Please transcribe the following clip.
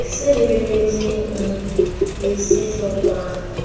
se lebeletsweng le se hlokwang